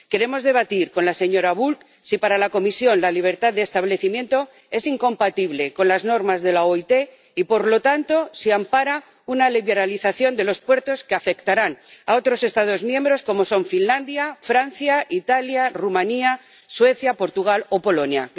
Queremos debatir con la señora Bulc si, para la Comisión, la libertad de establecimiento es incompatible con las normas de la OIT y, por lo tanto, si ampara una liberalización de los puertos que afectará a otros Estados miembros como son Finlandia, Francia, Italia, Rumanía, Suecia, Portugal o Polonia.